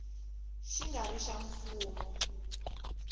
xi nga ri xa mfumo